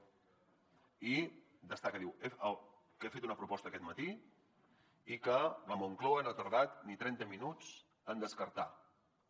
i destaca diu que he fet una proposta aquest matí i que la moncloa no ha tardat ni trenta minuts en descartar la